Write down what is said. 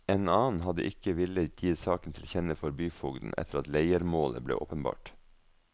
En annen hadde ikke villet gi saken tilkjenne for byfogden etter at leiermålet ble åpenbart.